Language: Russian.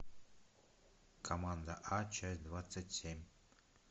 команда а часть двадцать семь